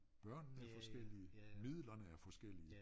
Børnene er forskellige midlerne er forskellige